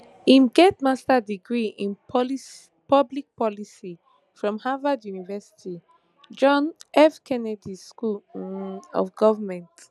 im get master degree in public policy from harvard university john f kennedy school um of goment